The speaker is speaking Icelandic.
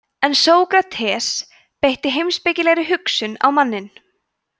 en sókrates beitir heimspekilegri hugsun á manninn